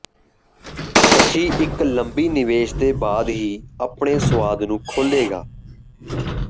ਸ਼ਚੀ ਇੱਕ ਲੰਮੀ ਨਿਵੇਸ਼ ਦੇ ਬਾਅਦ ਹੀ ਆਪਣੇ ਸੁਆਦ ਨੂੰ ਖੋਲੇਗਾ